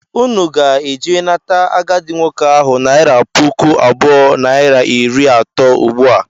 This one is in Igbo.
Ụnụ ga - eje nata agadị nwoke ahụ naira pụkụ abụọ naira iri atọ ụgbụa!!!!!!!